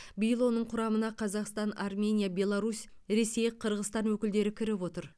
биыл оның құрамына қазақстан армения беларусь ресей қырғызстан өкілдері кіріп отыр